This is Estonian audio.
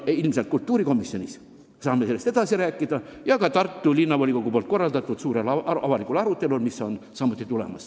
Ilmselt kultuurikomisjonis saame sellest kõigest edasi rääkida, samuti Tartu Linnavolikogu korraldataval suurel avalikul arutelul, mis peagi tuleb.